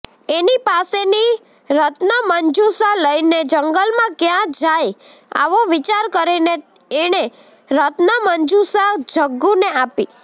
એની પાસેની રત્નમંજુષા લઈને જંગલમાં ક્યાં જાય આવો વિચાર કરીને એણે રત્નમંજુષા ગજ્જુને આપી